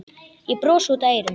Ég brosi út að eyrum.